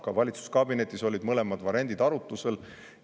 Ka valitsuskabinetis olid mõlemad variandid arutusel.